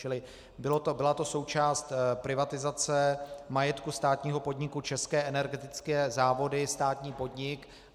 Čili byla to součást privatizace majetku státního podniku České energetické závody, státní podnik.